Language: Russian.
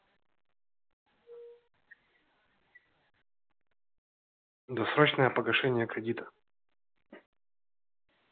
досрочное погашение кредита